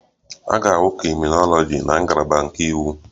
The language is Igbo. A ga-ahụ krịminoloji na ngalaba nke iwu